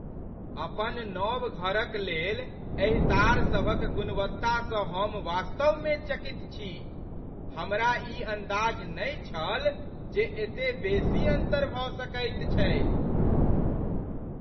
अपन नव घरक लेल एहि तार सभक गुणवत्तासँ हम वास्तवमे चकित छी। हमरा ई अन्दाज नहि छल जे एते बेसी अन्तर भऽ सकैत छैक।